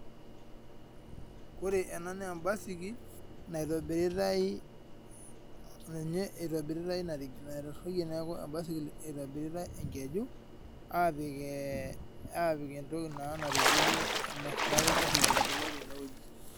Ore ena naa embaiskil naitobiritae itobiritae enkeju apik entoki natupukuo niaku embaisikil itobiritae tenewueji.